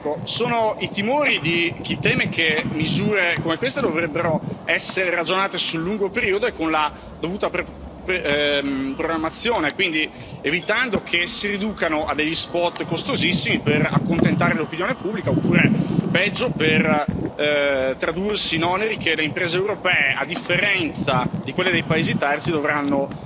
Ecco, sono i timori di chi teme che misure come queste dovrebbero essere ragionate sul lungo periodo e con la dovuta programmazione, quindi evitando che si riducano a degli spot costosissimi per accontentare l'opinione pubblica oppure, peggio, per tradursi in oneri che le imprese europee, a differenza di quelle dei paesi terzi, dovranno